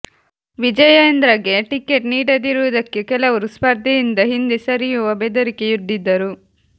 ವಿಜಯೇಂದ್ರಗೆ ticket ನೀಡದಿರುವುದಕ್ಕೆ ಕೆಲವರು ಸ್ಪರ್ಧೆ ಯಿಂದ ಹಿಂದೆ ಸರಿಯುವ ಬೆದರಿಕೆ ಯೊಡ್ಡಿದ್ದರು